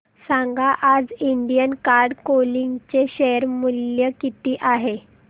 सांगा आज Indian card clothing चे शेअर मूल्य किती आहे